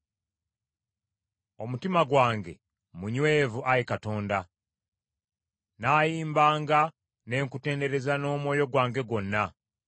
Omutima gwange munywevu, Ayi Katonda; nnaayimbanga ne nkutendereza n’omwoyo gwange gwonna.